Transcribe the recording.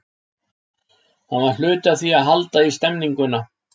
Hann var hluti af því að halda í stemninguna.